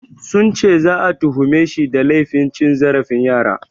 Sun ce za'a tuhumeshi da laifin cin zarafin yara.